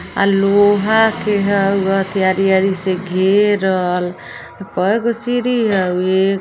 अ लोहा के हउ अथि आरी-आरी से घेरल कए गो सीढी हउ --